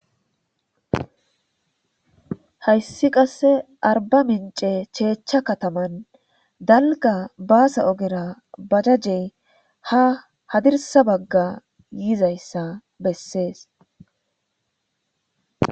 Hayssi qasse arbamince cheechcha kataman dalga baasa ogera bajajey ha hadirdsa bagga yizayssa besses.